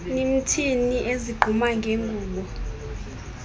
nimthini ezigquma ngengubo